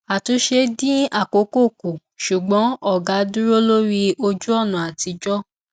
àtúnṣe dín àkókò kù ṣùgbọn ògá dúró lórí ojúọnà àtijọ